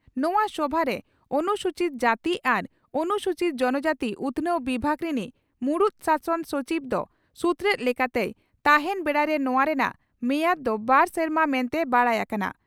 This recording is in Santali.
ᱱᱚᱣᱟ ᱥᱚᱵᱷᱟᱨᱮ ᱚᱱᱥᱩᱪᱤᱛ ᱡᱟᱹᱛᱤ ᱟᱨ ᱚᱱᱩᱥᱩᱪᱤᱛ ᱡᱚᱱᱚᱡᱟᱹᱛᱤ ᱩᱛᱷᱱᱟᱹᱣ ᱵᱤᱵᱷᱟᱜᱽ ᱨᱤᱱᱤᱡ ᱢᱩᱬᱩᱛ ᱥᱟᱥᱚᱱ ᱥᱚᱪᱤᱵᱽ ᱫᱚ ᱥᱩᱛᱨᱮᱛ ᱞᱮᱠᱟᱛᱮᱭ ᱛᱟᱦᱮᱸᱱ ᱵᱮᱲᱟᱨᱮ ᱱᱚᱣᱟ ᱨᱮᱱᱟᱜ ᱢᱮᱭᱟᱫᱽ ᱫᱚ ᱵᱟᱨ ᱥᱮᱨᱢᱟ ᱢᱮᱱᱛᱮ ᱵᱟᱰᱟᱭ ᱟᱠᱟᱱᱟ ᱾